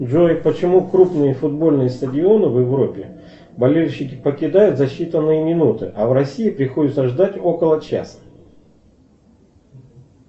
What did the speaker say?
джой почему крупные футбольные стадионы в европе болельщики покидают за считанные минуты а в россии приходится ждать около часа